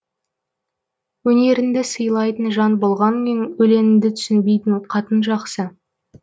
өнеріңді сыйлайтын жан болғанмен өлеңінді түсінбейтін қатын жақсы